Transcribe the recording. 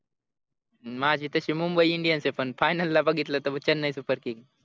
माझी तशी mumbai indians ए पण final ला बघितलं तर chennai super king